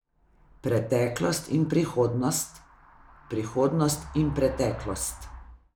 Preteklost in prihodnost, prihodnost in preteklost.